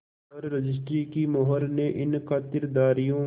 पर रजिस्ट्री की मोहर ने इन खातिरदारियों